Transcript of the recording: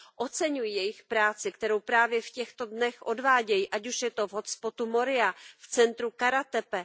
Oceňuji jejich práci, kterou právě v těchto dnech odvádějí, ať už je to v hot spotu Moria, v centru Karatepe.